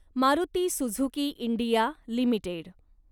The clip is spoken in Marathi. Maruti Suzuki India limited